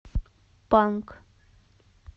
панк